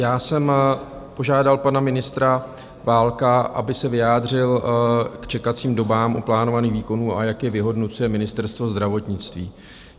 Já jsem požádal pana ministra Válka, aby se vyjádřil k čekacím dobám u plánovaných výkonů a jak je vyhodnocuje Ministerstvo zdravotnictví.